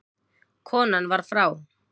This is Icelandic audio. Konan var frá